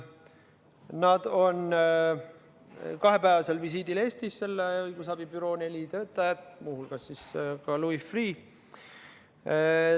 Nad on kahepäevasel visiidil Eestis – selle õigusabi büroo neli töötajat, nende hulgas ka Louis Freeh.